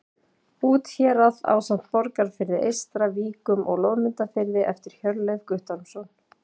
Úthérað ásamt Borgarfirði eystra, Víkum og Loðmundarfirði eftir Hjörleif Guttormsson.